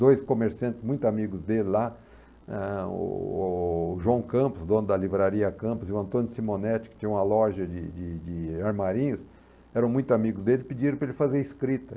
Dois comerciantes muito amigos dele lá, eh, o o o João Campos, dono da livraria Campos, e o Antônio Simonetti, que tinha uma loja de de de armarinhos, era muito amigos dele, pediram para ele fazer escrita.